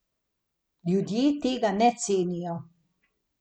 Ljudje tega ne cenijo.